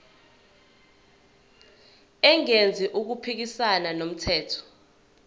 engenzi okuphikisana nomthetho